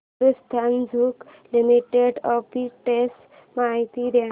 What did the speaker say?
Hindustan zinc limited arbitrage माहिती दे